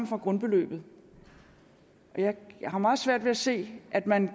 grundbeløbet jeg har meget svært ved at se at man